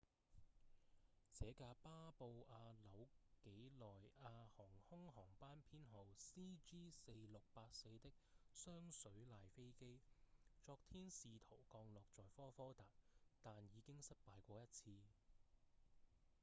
這架巴布亞紐幾內亞航空航班編號 cg4684 的雙水獺飛機昨天試圖降落在科科達但已經失敗過一次